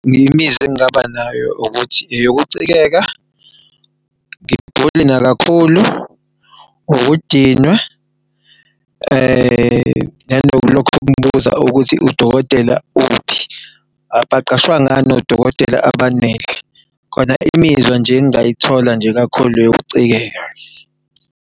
Imizw'engingaba nayo ukuthi eyoukucikeka, ngigule nakakhulu, ukudinwa, nanalokhu ukubuza ukuthi udokotela uphi. Abaqashwa ngani odokotela abanele khona? Imizwa nje engingayithola nje kakhulu eyokucikeka.